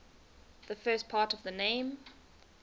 the first part of the name